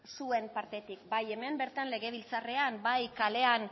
zuen partetik bai hemen bertan legebiltzarrean bai kalean